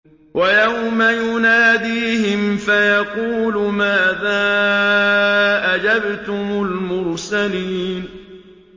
وَيَوْمَ يُنَادِيهِمْ فَيَقُولُ مَاذَا أَجَبْتُمُ الْمُرْسَلِينَ